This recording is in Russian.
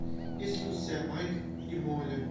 есть ли у тебя майк и молли